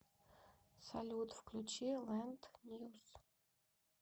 салют включи лэнд ньюс